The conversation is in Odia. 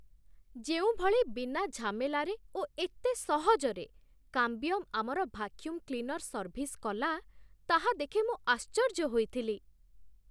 ଯେଉଁ ଭଳି ବିନା ଝାମେଲାରେ ଓ ଏତେ ସହଜରେ 'କାମ୍ବିୟମ୍' ଆମର ଭାକ୍ୟୁମ୍ କ୍ଲିନର୍ ସର୍ଭିସ୍ କଲା, ତାହା ଦେଖି ମୁଁ ଆଶ୍ଚର୍ଯ୍ୟ ହୋଇଥିଲି।